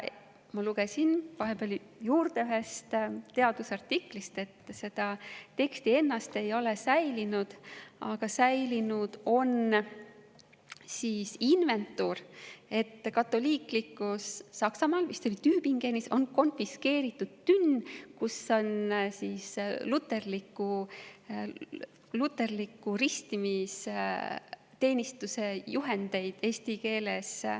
Ma lugesin vahepeal juurde ühest teadusartiklist, et seda teksti ennast ei ole säilinud, aga säilinud on, et katoliiklikul Saksamaal konfiskeeriti tünn, mille sees olid muu hulgas luterliku ristimisteenistuse juhendid eesti keeles.